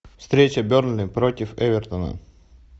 встреча бернли против эвертона